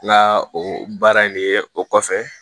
N ka o baara in de ye o kɔfɛ